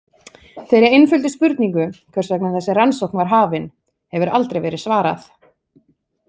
Þeirri einföldu spurningu, hvers vegna þessi rannsókn var hafin, hefur aldrei verið svarað.